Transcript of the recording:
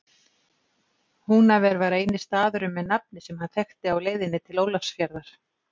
Húnaver var eini staðurinn með nafni sem hann þekkti á leiðinni til Ólafsfjarðar.